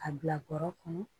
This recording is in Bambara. A bila bɔrɔ kɔnɔ